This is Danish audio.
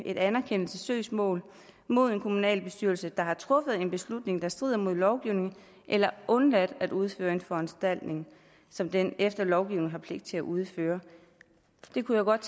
et anerkendelsessøgsmål mod en kommunalbestyrelse der har truffet en beslutning der strider mod lovgivningen eller undladt at udføre en foranstaltning som den efter lovgivningen har pligt til at udføre jeg kunne godt